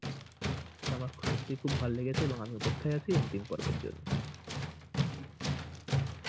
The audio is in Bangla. এতে আমার সত্যি খুব ভালো লেগেছে এবং আমি অপেক্ষাই আছি অন্তিম পর্বের জন্য।